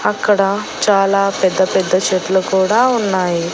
అక్కడ చాలా పెద్ద పెద్ద చెట్లు కూడా ఉన్నాయి.